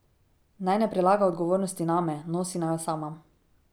Naj ne prelaga odgovornosti name, nosi naj jo sama.